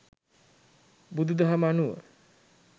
බුදුදහම අනුව